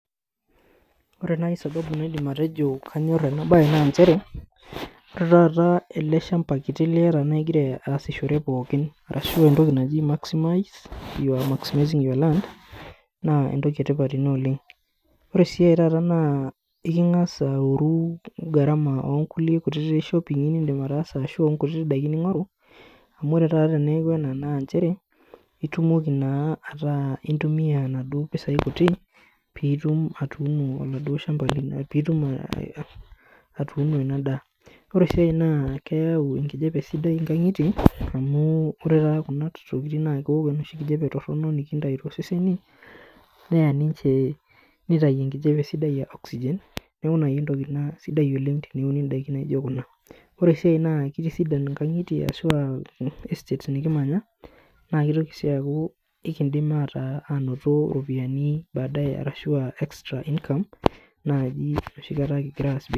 Ore naai sababu naidim atejo kanyorr ena baye naanchere ore taata ele shamba kiti liyata naigira asishore pookin arashu entoki naji maximize, you are maximizing your land naa entoki etipat ina oleng ore sii ae taata naa eking'as aoru gharama onkulie shoping'i nindim ataasa ashu onkutiti daiki ning'oru amu ore taata teneeku ena nanchere itumoki naa ataa intumia inaduo pisai kuti piitum atuuno oladuo shamba lino piitum ae atuuno ina daa ore sii ae naa keyau enkijape sidai inkang'itie amu ore taata kuna tokiting naa keok enoshi kijape torrono nikintai toseseni neya ninche nitai enkijape sidai uh oxygen neku naaji entoki ina sidai oleng teneuni indaikin naijo kuna ore sii ae naa kitisidan inkang'itie ashua estates nikimanya naa kitoki sii aaku ikindim ataa anoto iropiani baadaye arashua extra income naaji enoshi kata kigira aas bia.